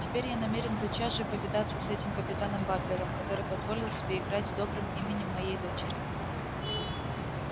теперь я намерен тотчас же повидаться с этим капитаном батлером который позволил себе играть добрым именем моей дочери